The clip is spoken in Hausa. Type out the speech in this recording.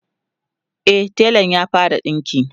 e telan ya fara dinki